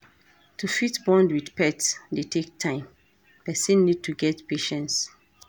To fit bond with pet dey take time, person need to get patience